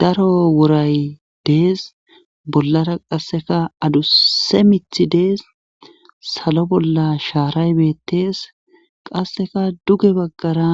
Daro wuray dees bollara qasseka aduse mithi dees salo bolla shaaray beettees qasseka duge baggara